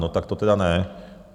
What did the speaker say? No tak to tedy ne.